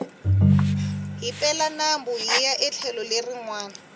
hi pela nambu hiya etlhelo leri nwana